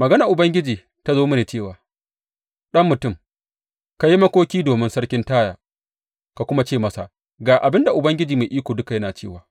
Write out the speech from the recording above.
Maganar Ubangiji ta zo mini cewa, Ɗan mutum, ka yi makoki domin sarkin Taya ka kuma ce masa, Ga abin da Ubangiji Mai Iko Duka yana cewa,